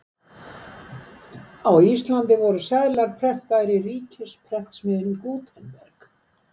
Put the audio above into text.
Á Íslandi voru seðlar prentaðir í ríkisprentsmiðjunni Gutenberg.